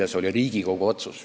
Ja see oli Riigikogu otsus.